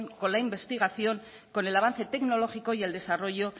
con la investigación con el avance tecnológico y el desarrollo